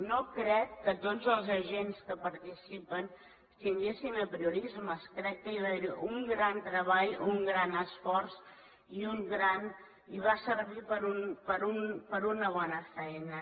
no crec que tots els agents que hi participen tinguessin apriorismes crec que hi va haver un gran treball un gran esforç i va servir per a una bona feina